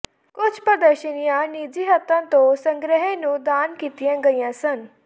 ਕੁਝ ਪ੍ਰਦਰਸ਼ਨੀਆਂ ਨਿੱਜੀ ਹੱਥਾਂ ਤੋਂ ਸੰਗ੍ਰਹਿ ਨੂੰ ਦਾਨ ਕੀਤੀਆਂ ਗਈਆਂ ਸਨ